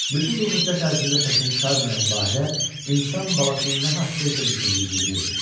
Bütün bu müddət ərzində səsini çıxarmayan Bahirə insan balasının nə haqda isə düşündüyünü bilirdi.